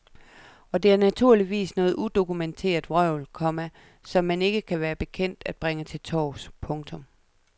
Og det er naturligvis noget udokumenteret vrøvl, komma som man ikke kan være bekendt at bringe til torvs. punktum